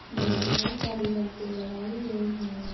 में बहोत सारी लाइटें लगाई गई है।